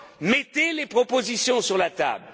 Mettez les propositions sur